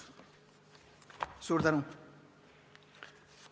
Suur tänu!